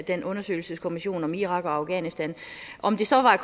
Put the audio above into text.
den undersøgelseskommission om irak og afghanistan om det så var